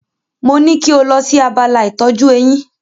Mo ní kí o lọ sí abala ìtọ́jú eyín.